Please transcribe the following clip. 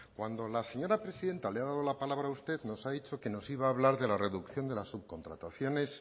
cuando la señora presidenta le ha dado la palabra a usted nos ha dicho que nos iba a hablar de la reducción de las subcontrataciones